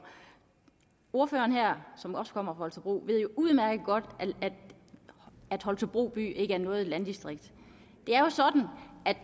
ordføreren her som også kommer fra holstebro ved jo udmærket godt at holstebro by ikke er noget landdistrikt